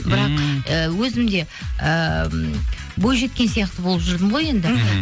бірақ і өзім де ыыы бойжеткен сияқты болып жүрдім ғой енді мхм